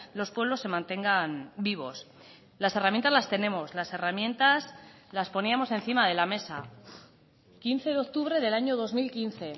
los pueblos se mantengan vivos las herramientas las tenemos las herramientas las poníamos encima de la mesa quince de octubre del año dos mil quince